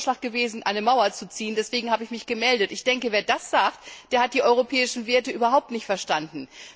Es wurde der Vorschlag gemacht, eine Mauer zu ziehen deswegen habe ich mich gemeldet. Wer so etwas sagt, hat die europäischen Werte überhaupt nicht verstanden.